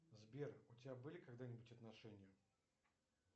сбер у тебя были когда нибудь отношения